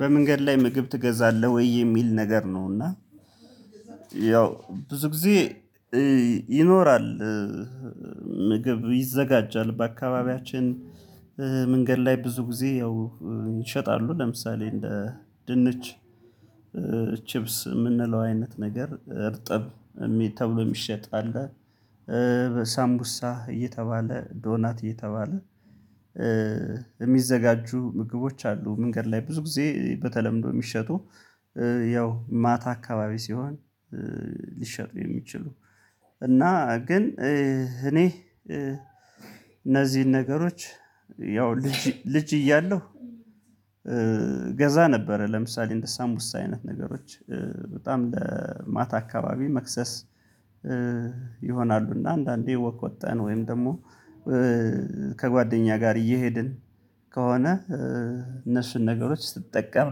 በመንገድ ላይ ምግብ ትገዛለህ ወይ የሚል ነገር ነው? እና ያው ብዙ ጊዜ ይኖራል። ምግብ ይዘጋጃል በአካባቢያችን መንገድ ላይ ብዙ ጊዜ ያው ይሸጣሉ ለምሳሌ እንደ ድንች ቺፕስ የምንለው አይነት ነገር እርጥብ ተብሎ የሚሸጥ አለ እየተባለ ዶናት እየተባለ የሚዘጋጁ ምግቦች አሉ። መንገድ ላይ ብዙ ጊዜ በተለምዶ የሚሸጡ ያው ማታ አካባቢ ሲሆን ሊሸጡ የሚችሉ እና ግን እኔ እነዚህን ነገሮች ያው ልጅ ልጅ እያለሁ ገዛ ነበረ። ለምሳሌ እንደ ሳምቡሳ አይነት ነገሮች በጣም ለማታ አካባቢ መክሰስ ይሆናሉ እና አንዳንዴ ወክ ወጠን ወይም ደግሞ ከጓደኛ ጋር እየሄድን ከሆነ እነሱን ነገሮች ስጠቀም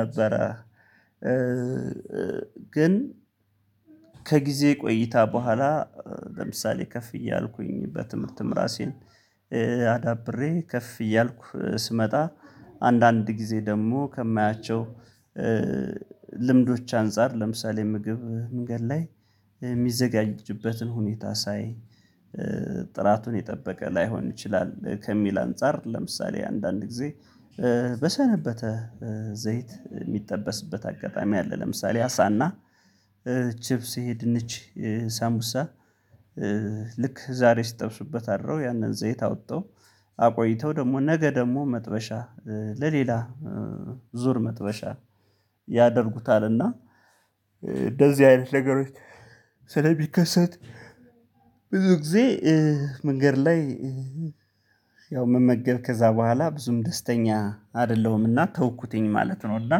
ነበረ። ግን ከጊዜ ቆይታ በኋላ ለምሳሌ ከፍ እያልኩኝ በትምህርትም ራሴን አዳብሬ ከፍ እያልኩ ስመጣ አንዳንድ ጊዜ ደግሞ ከማያቸው ልምዶች አንፃር ለምሳሌ ምግብ መንገድ ላይ የሚዘጋጅበትን ሁኔታ ሳይ የጠበቀ ላይሆን ይችላል ከሚል አንፃር ለምሳሌ አንዳንድ ጊዜ በሰነበተ ዘይት የሚጠበስበት አጋጣሚ አለ ለምሳሌ አሳና ቺፕስ ይሄ ድንች ሳምቡሳ ልክ ዛሬ ሲጠብሱበት አድረው ያንን ዘይት አውጠው አቆይተው ደግሞ ነገ ደግሞ መጥበሻ ለሌላ ዙር መጥበሻ ያደርጉታል እና እንደዚህ አይነት ነገሮች ስለሚከሰት ብዙ ጊዜ መንገድ ላይ ያው መመገብ ከዛ በኋላ ብዙም ደስተኛ አይደለሁምና ተውኩትኝ ማለት ነው። እና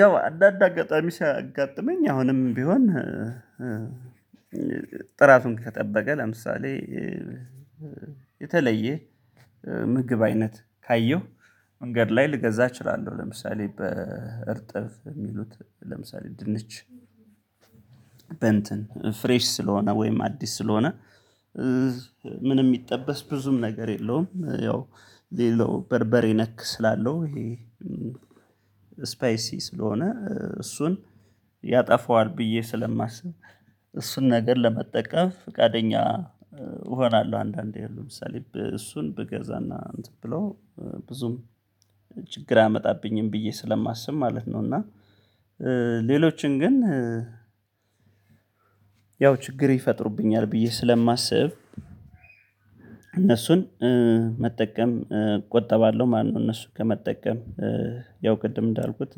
ያው አንዳንድ አጋጣሚ ሲያጋጥመኝ አሁንም ቢሆን ጥራቱን ከጠበቀ ለምሳሌ የተለየ ምግብ አይነት ካየሁ መንገድ ላይ ልገዛ እችላለሁ። ለምሳሌ በእርጥብ የሚሉት ለምሳሌ ድንች በእንትን ፍሬሽ ስለሆነ ወይም አዲስ ስለሆነ ምንም የሚጠበስ ብዙም ነገር የለውም ያው የለው በርበሬ ነክ ስላለው ይሄ ስፓይሲ ስለሆነ እሱን ያጠፋዋል ብዬ ስለማስብ እሱን ነገር ለመጠቀም ፍቃደኛ እሆናለሁ አንዳንዴ ያው ለምሳሌ እሱን ብገዛና እንትን ብሎ ብዙም ችግር አያመጣብኝም ብዬ ስለማስብ ማለት ነው። እና ሌሎችን ግን ያው ችግር ይፈጥሩብኛል ብዬ ስለማስብ እነሱን መጠቀም እቆጠባለሁ። ማነው እነሱን ከመጠቀም ያው ቅድም እንዳልኩት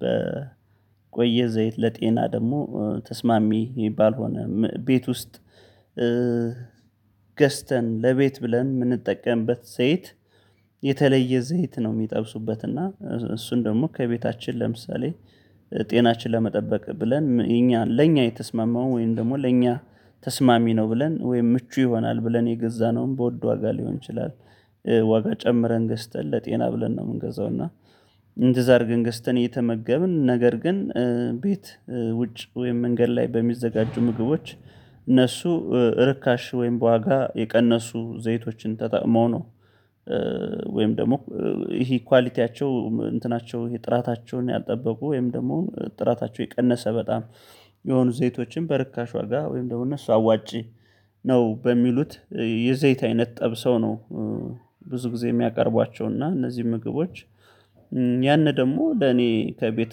በቆየ ዘይት ለጤና ደግሞ ተስማሚ የሚባል ሆነ ቤት ውስጥ ገዝተን ለቤት ብለን የምንጠቀምበት ዘይት የተለየ ዘይት ነው የሚጠብሱበት እና እሱን ደግሞ ከቤታችን ለምሳሌ ጤናችን ለመጠበቅ ብለን እኛ ለእኛ የተስማማው ወይም ደግሞ ለእኛ ተስማሚ ነው ብለን ወይም ምቹ ይሆናል ብለን የገዛነውን በውድ ዋጋ ሊሆን ይችላል ዋጋ ጨምረን ገዝተን ለጤና ብለን ነው። የምንገዛው እና እንደዛ አርገን ገዝተን እየተመገብን ነገር ግን ቤት ውጭ ወይም መንገድ ላይ በሚዘጋጁ ምግቦች እነሱ ርካሽ ወይም በዋጋ የቀነሱ ዘይቶችን ተጠቅመው ነው ወይም ደግሞ ይሄ ኳሊቲያቸው እንትናቸው ይሄ ጥራታቸውን ያልጠበቁ ወይም ደግሞ ጥራታቸው የቀነሰ በጣም የሆኑ ዘይቶችን በርካሽ ዋጋ ወይም ደግሞ እነሱ አዋጪ ነው በሚሉት የዘይት አይነት ጠብሰው ነው። ብዙ ጊዜ የሚያቀርቧቸው እና እነዚህ ምግቦች ደግሞ ለኔ ከቤት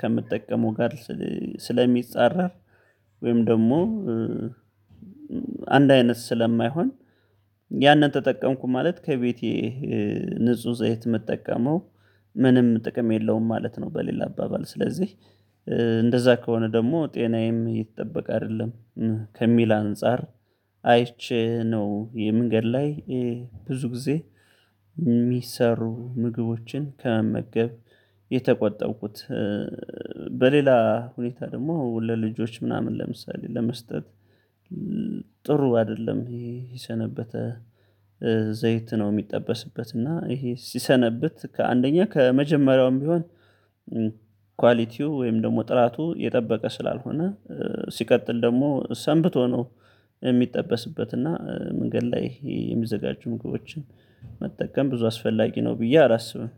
ከምጠቀመው ጋር ስለሚጻረር ወይም ደግሞ አንድ አይነት ስለማይሆን ያንን ተጠቀምኩ ማለት ከቤቴ ንጹህ ዘይት ምጠቀመው ምንም ጥቅም የለውም ማለት ነው። በሌላ አባባል ስለዚህ እንደዛ ከሆነ ደግሞ ጤናዬም እየተጠበቀ አይደለም ከሚል አንፃር አይቼ ነው የመንገድ ላይ ብዙ ጊዜ የሚሰሩ ምግቦችን ከመመገብ የተቆጠብኩት። በሌላ ሁኔታ ደግሞ ለልጆች ምናምን ለምሳሌ ለመስጠት ጥሩ አይደለም ይሄ የሰነበተ ዘይት ነው የሚጠበስበት እና ይሄ ሲሰነብት ከአንደኛ ከመጀመሪያውም ቢሆን ኳሊቲው ወይም ደግሞ ጥራቱ የጠበቀ ስላልሆነ ሲቀጥል ደግሞ ሰንብቶ ነው የሚጠበስበት እና መንገድ ላይ የሚዘጋጁ ምግቦችን መጠቀም ብዙ አስፈላጊ ነው። ብዬ አላስብም።